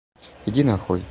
иди нахуй